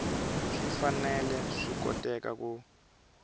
swi fanele swi koteka ku